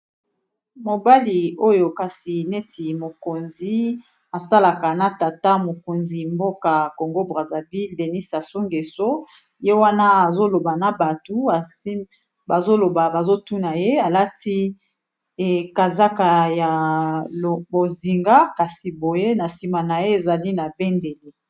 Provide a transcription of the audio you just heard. mobali oyo kasi neti mokonzi asalaka na tata mokonzi mboka congo braserville denis asungeso ye wana azoloba na batu bazoloba bazotuna ye alati ekazaka ya bozinga kasi boye na nsima na ye ezali na bendeli